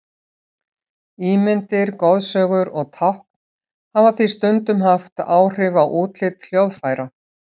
Ímyndir, goðsögur og tákn hafa því stundum haft áhrif á útlit hljóðfæra.